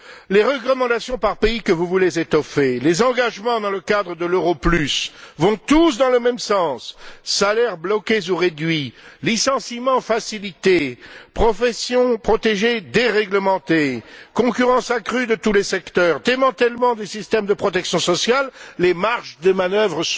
Les recommandations par pays que vous voulez étoffer, les engagements dans le cadre de l'euro plus, vont tous dans le même sens salaires bloqués ou réduits, licenciements facilités, professions protégées déréglementées, concurrence accrue de tous les secteurs, démantèlement des systèmes de protection sociale, les marges de manœuvre